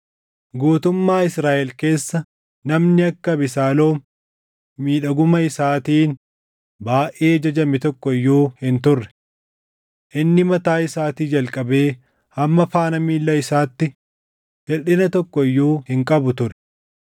Guutummaa Israaʼel keessa namni akka Abesaaloom miidhaguma isaatiin baayʼee jajame tokko iyyuu hin turre. Inni mataa isaatii jalqabee hamma faana miilla isaatti hirʼina tokko iyyuu hin qabu ture.